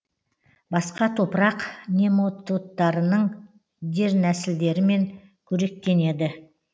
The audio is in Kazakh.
басқа топырақ нематодтарының дернәсілдерімен қоректенеді